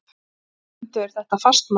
Bundu þeir þetta fastmælum.